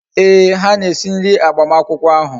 Ee, ha na-esi nri agbamakwukwo ahu